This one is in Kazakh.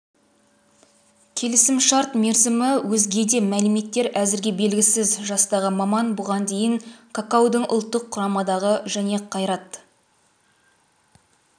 келісімшарт мерзімі өзге де мәліметтер әзірге белгісіз жастағы маман бұған дейін какаудың ұлттық құрамадағы және қайрат